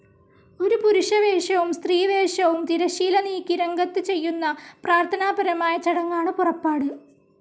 ഒരു പുരുഷവേഷവും സ്ത്രീവേഷവും തിരശ്ശീല നീക്കി രംഗത്തു ചെയ്യുന്ന പ്രാർത്ഥനാപരമായ ചടങ്ങാണ് പുറപ്പാട്‌.